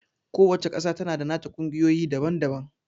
Ku wacca ƙasa tana da nata ƙungiyoyi daban-daban